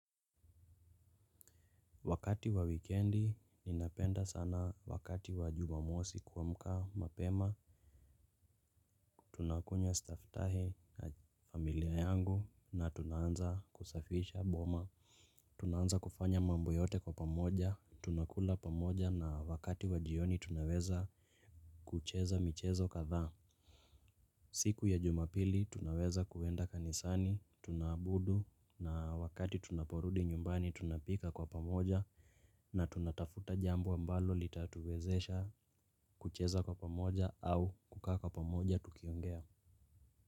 Wakati wa wikendi, ninapenda sana wakati wa jumamosi kuamka mapema. Tunakunywa staftahi na familia yangu na tunaanza kusafisha boma. Tunaanza kufanya mambo yote kwa pamoja. Tunakula pamoja na wakati wa jioni tunaweza kucheza michezo kadhaa. Siku ya jumapili tunaweza kuenda kanisani, tunaabudu na wakati tunaporudi nyumbani tunapika kwa pamoja. Na tunatafuta jambo ambalo litatuwezesha kucheza kwa pamoja au kukaa kwa pamoja tukiongea.